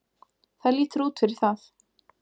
Það lítur út fyrir það.